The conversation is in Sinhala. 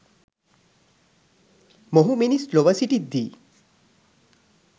මොහු මිනිස් ලොව සිටිද්දී